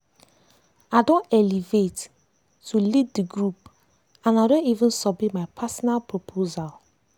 i don elevate to lead the group and i don even submit my personal proposal.